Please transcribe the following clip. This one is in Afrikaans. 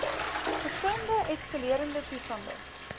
verskillende eskalerende toestande